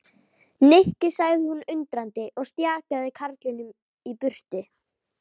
Nikki sagði hún undrandi og stjakaði karlinum í burtu.